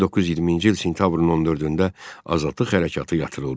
1920-ci il sentyabrın 14-də azadlıq hərəkatı yatırıldı.